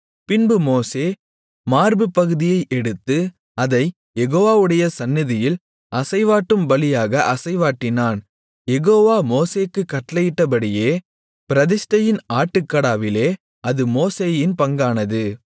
பின்பு மோசே மார்புப்பகுதியை எடுத்து அதைக் யெகோவாவுடைய சந்நிதியில் அசைவாட்டும் பலியாக அசைவாட்டினான் யெகோவா மோசேக்குக் கட்டளையிட்டபடியே பிரதிஷ்டையின் ஆட்டுக்கடாவிலே அது மோசேயின் பங்கானது